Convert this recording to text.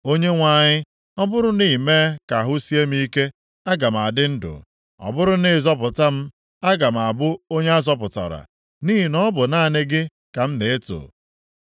Onyenwe anyị, ọ bụrụ na i mee ka ahụ sie m ike aga m adị ndụ. Ọ bụrụ na ị zọpụta m aga m abụ onye azọpụtara, nʼihi na ọ bu naanị gị ka m na-eto.